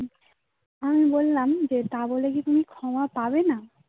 আমি বললাম যে তা বলে কি তুমি ক্ষমা পাবে না